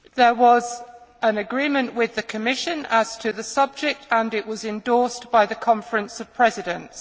There was an agreement with the Commission as to the subject and it was endorsed by the Conference of Presidents.